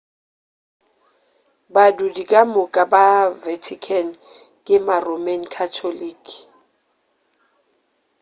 badudi ka moka ba vatican ke ma-roman catholic